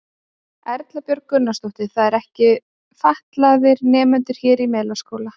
Erla Björg Gunnarsdóttir: Það eru ekki fatlaðir nemendur hér í Melaskóla?